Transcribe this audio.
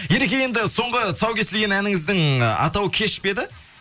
ереке енді соңғы тұсау кесілген әніңіздің атауы кеш пе еді